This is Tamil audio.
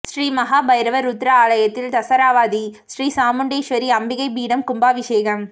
ஸ்ரீ மஹா பைரவர் ருத்ர ஆலயத்தில் தசராவதி ஸ்ரீ சாமுண்டீஸ்வரி அம்பிகை பீடம் கும்பாபிஷேகம்